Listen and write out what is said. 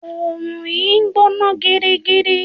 Òòrùn yìí ń gbóná gidigidi.